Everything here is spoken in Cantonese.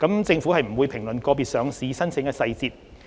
政府不會評論個別上市申請的細節。